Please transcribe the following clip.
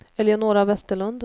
Eleonora Westerlund